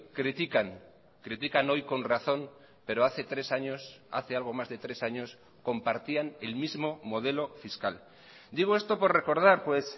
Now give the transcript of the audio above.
critican critican hoy con razón pero hace tres años hace algo más de tres años compartían el mismo modelo fiscal digo esto por recordar pues